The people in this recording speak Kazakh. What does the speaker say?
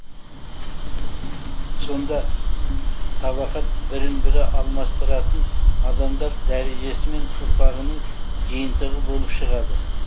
сонда табақат бірін бірі алмастыратын адамдар дәрежесі мен ұрпағының жиынтығы болып шығады